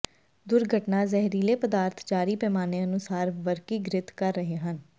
ਦੁਰਘਟਨਾ ਜ਼ਹਿਰੀਲੇ ਪਦਾਰਥ ਜਾਰੀ ਪੈਮਾਨੇ ਅਨੁਸਾਰ ਵਰਗੀਕ੍ਰਿਤ ਕਰ ਰਹੇ ਹਨ